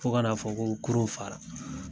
Fo ka na fɔ ko kurun faara.